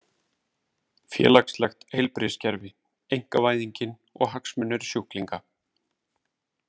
Félagslegt heilbrigðiskerfi, einkavæðingin og hagsmunir sjúklinga.